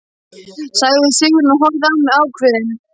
sagði Sigrún og horfði á mig ákveðin.